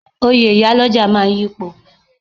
Oyè iyálọ́jà máa yipo.